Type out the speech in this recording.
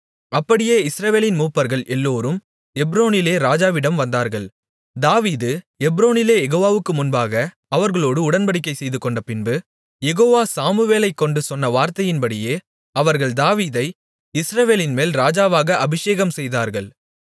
அப்படியே இஸ்ரவேலின் மூப்பர்கள் எல்லோரும் எப்ரோனிலே ராஜாவிடம் வந்தார்கள் தாவீது எப்ரோனிலே யெகோவாவுக்கு முன்பாக அவர்களோடு உடன்படிக்கை செய்துகொண்டபின்பு யெகோவா சாமுவேலைக்கொண்டு சொன்ன வார்த்தையின்படியே அவர்கள் தாவீதை இஸ்ரவேலின்மேல் ராஜாவாக அபிஷேகம்செய்தார்கள்